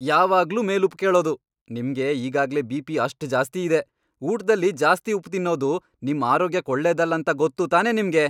ಯಾವಾಗ್ಲೂ ಮೇಲುಪ್ಪು ಕೇಳೋದು! ನಿಮ್ಗೆ ಈಗಾಗ್ಲೇ ಬಿ.ಪಿ. ಅಷ್ಟ್ ಜಾಸ್ತಿ ಇದೆ, ಊಟ್ದಲ್ಲಿ ಜಾಸ್ತಿ ಉಪ್ಪ್ ತಿನ್ನೋದು ನಿಮ್ ಆರೋಗ್ಯಕ್ ಒಳ್ಳೇದಲ್ಲ ಅಂತ ಗೊತ್ತು ತಾನೇ ನಿಮ್ಗೆ?!